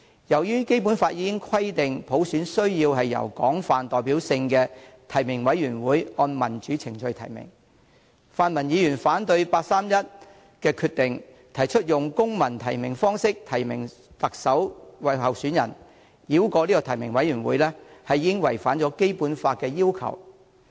由於《基本法》已經規定，普選需要由具廣泛代表性的提名委員會按民主程序提名，泛民議員反對八三一決定，提出用公民提名方式提名特首候選人，繞過提名委員會，已經違反了《基本法》的要求。